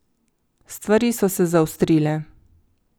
Stvari so se zaostrile.